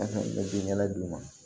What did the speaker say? u bɛ ɲɛnɛ d'u ma